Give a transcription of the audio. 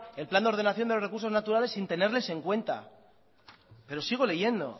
el plan de ordenación de recursos naturales sin tenerles en cuenta pero sigo leyendo